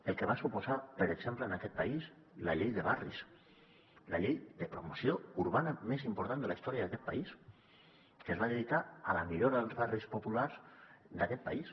el que va suposar per exemple en aquest país la llei de barris la llei de promoció urbana més important de la història d’aquest país que es va dedicar a la millora dels barris populars d’aquest país